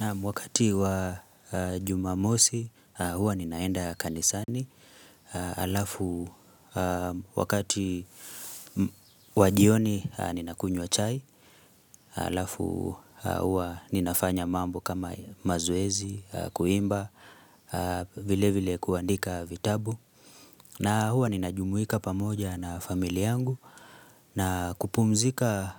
Naam wakati wa jumamosi huwa ninaenda kanisani, alafu wakati wajioni nina kunywa chai, alafu huwa ninafanya mambo kama mazoezi, kuimba, vile vile kuandika vitabu. Na huwa ninajumuika pamoja na familia yangu na kupumzika